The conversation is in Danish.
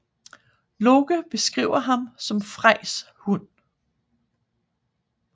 Loke beskriver ham som Frejs hund